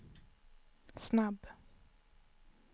snabb